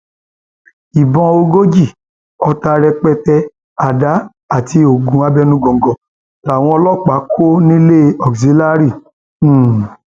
ìbọn ogójì ọta rẹpẹtẹ àdá àti oògùn abẹnugọńgọ làwọn ọlọpàá kọ nílẹ auxilliary um